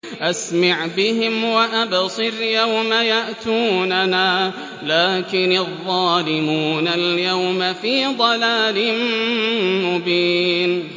أَسْمِعْ بِهِمْ وَأَبْصِرْ يَوْمَ يَأْتُونَنَا ۖ لَٰكِنِ الظَّالِمُونَ الْيَوْمَ فِي ضَلَالٍ مُّبِينٍ